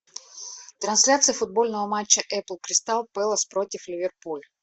трансляция футбольного матча апл кристал пэлас против ливерпуль